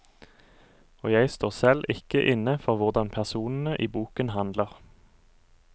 Og jeg står selv ikke inne for hvordan personene i boken handler.